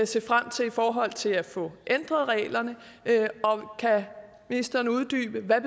se frem til i forhold til at få ændret reglerne og kan ministeren uddybe hvad